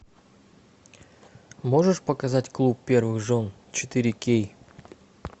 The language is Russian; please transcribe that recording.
можешь показать клуб первых жен четыре кей